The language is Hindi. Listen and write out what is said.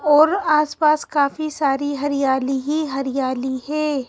और आसपास काफी सारी हरियाली ही हरियाली है।